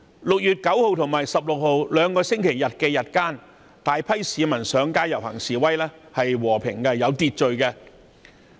6月9日及16日兩個星期日的日間，大批市民上街遊行示威，是和平及有秩序的。